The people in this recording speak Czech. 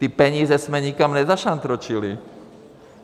Ty peníze jsme nikam nezašantročili.